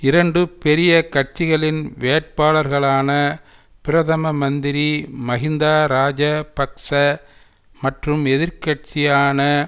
இரண்டு பெரிய கட்சிகளின் வேட்பாளர்களான பிரதம மந்திரி மகிந்தா ராஜ பக்ச மற்றும் எதிர் கட்சியான